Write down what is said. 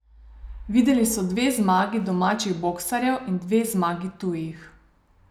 Videli so dve zmagi domačih boksarjev in dve zmagi tujih.